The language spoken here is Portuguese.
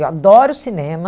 Eu adoro o cinema.